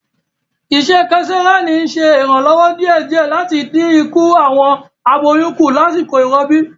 Isẹ kesareani n ṣe iranlọwọ diẹdiẹ lati din iku awọn aboyun ku lasiko irọbi.